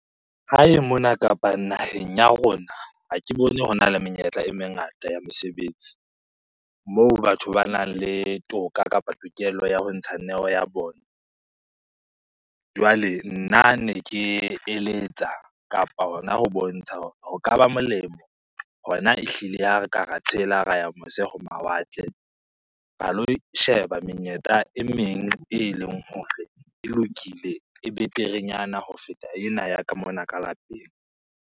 Hae mona kapa naheng ya rona, ha ke bone hona le menyetla e mengata ya mesebetsi moo batho ba nang le toka kapa tokelo ya ho ntsha neo ya bona. Jwale nna ne ke eletsa kapa hona ho bontsha hore ho ka ba molemo hona ehlile ha re ka ra tshela, ra ya mose ho mawatle. Ra lo sheba menyetla e meng eleng hore e lokile, e beterenyana ho feta ena ya ka mona ka lapeng.